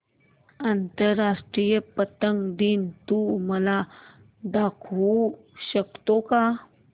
आंतरराष्ट्रीय पतंग दिन तू मला दाखवू शकतो का